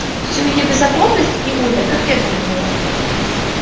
всю её беззаботность и удаль как ветром сдуло